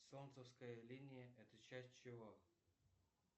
солнцевская линия это часть чего